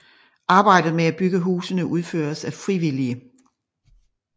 Arbejdet med at bygge husene udføres af frivillige